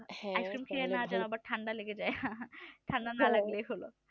হ্যাঁ আচ্ছা